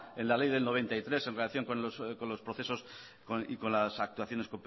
en la ley de mil novecientos noventa y tres en relación con los procesos y con las actuaciones